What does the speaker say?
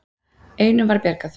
Einum var bjargað.